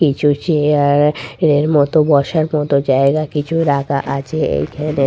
কিছু চেয়ার এর মতো বসার মত জায়গা কিছু রাখা আছে এইখানে।